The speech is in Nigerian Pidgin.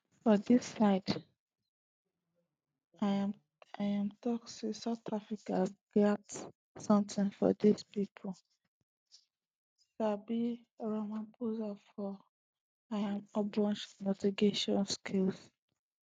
for dis side im tok say south africa gatz sometin for dis meeting pipo sabi ramaphosa for im ogbonge negotiation skills